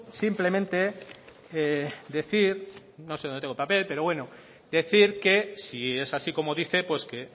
simplemente decir no sé donde tengo el papel pero bueno decir que si es así como dice pues que